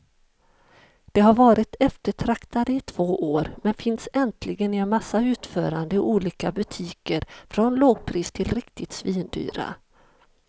De har varit eftertraktade i två år, men finns äntligen i en massa utföranden i olika butiker från lågpris till riktigt svindyra.